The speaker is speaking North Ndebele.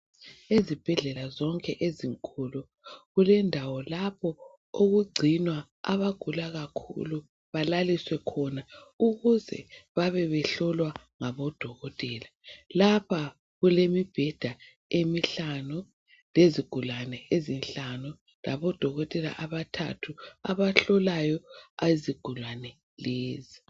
ezibhedlela zonke ezinkulu kulendawo lapho okugcinwa abagula kakhulu balaliswe khona ukuze babe behlolwa nabo dokotela lapha kulemibheda emihlanu leziglane ezinhlanu labo dokotela abathathu abahlolayo izigulane lezi